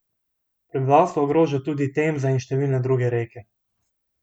Prebivalstvo ogroža tudi Temza in številne druge reke.